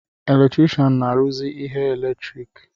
Eletrikshan na-arụzị ihe eletriki